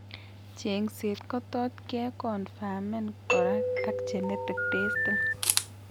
Cheng'seet kotot keconfimen kora ak genetic testing